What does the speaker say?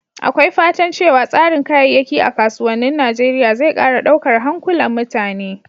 Akwai fatan cewa tsarin kayayyaki a kasuwannin Najeriya zai ƙara daukar hankulan mutane.